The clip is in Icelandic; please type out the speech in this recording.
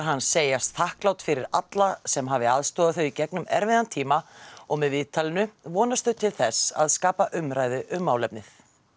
hans segjast þakklát fyrir alla sem hafi aðstoðað þau í gegnum erfiðan tíma og með viðtalinu vonast þau til þess að skapa umræðu um málefnið